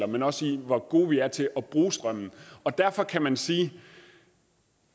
men også hvor gode vi er til at bruge strømmen derfor kan man sige